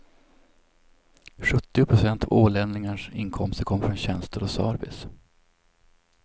Sjuttio procent av ålänningarnas inkomster kommer från tjänster och service.